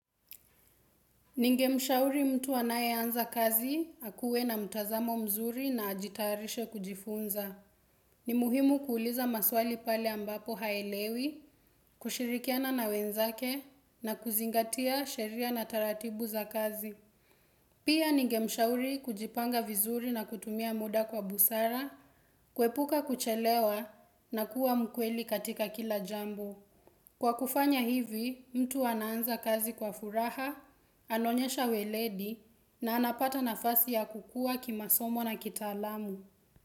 Ningemshauri mtu anayeanza kazi akuwe na mtazamo mzuri na ajitayarishe kujifunza. Ni muhimu kuuliza maswali pale ambapo haelewi, kushirikiana na wenzake na kuzingatia sheria na taratibu za kazi. Pia ningemshauri kujipanga vizuri na kutumia muda kwa busara, kuepuka kuchelewa na kuwa mkweli katika kila jambo. Kwa kufanya hivi, mtu anaanza kazi kwa furaha, anaonyesha weledi na anapata nafasi ya kukua kimasomo na kitaalamu.